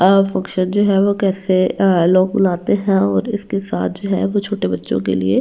Function जो है वो कैसे लोग बुलाते हैं और इसके साथ जो है वो छोटे बच्चों के लिए।